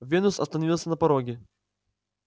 венус остановился на пороге